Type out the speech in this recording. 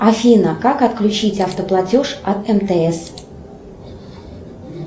афина как отключить автоплатеж от мтс